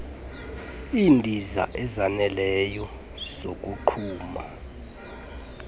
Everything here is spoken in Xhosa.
iindiza ezoneleyo zokogquma